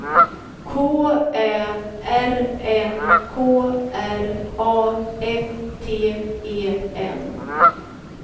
K Ä R N K R A F T E N